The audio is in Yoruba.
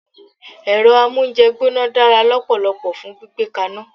Èro amóúnjegbóná dára lópòlopò fun gbígbé kaná